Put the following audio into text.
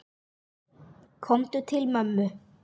Komdu til mömmu.